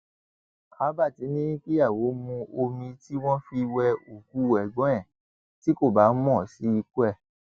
albert ní kíyàwó mu omi tí wọn fi wé òkú ẹgbọn ẹ tí kò bá mọ sí ikú ẹ